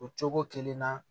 O cogo kelen na